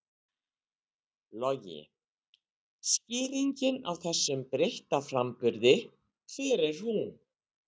Logi: Skýringin á þessum breytta framburði, hver er hún?